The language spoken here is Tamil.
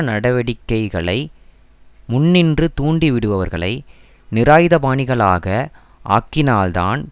நடவடிக்கைகளை முன்னின்று தூண்டிவிடுபவர்களை நிராயுதபாணிகளாக ஆக்கினால்தான்